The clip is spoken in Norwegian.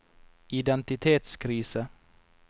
identitetskrise